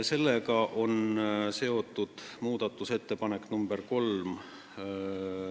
Sellega on seotud muudatusettepanek nr 3.